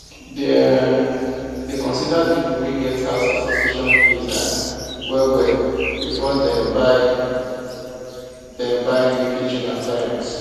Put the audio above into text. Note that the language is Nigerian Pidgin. dem um dey consider people wey get house association fees um well well before dem buy before dem buy new kitchen appliance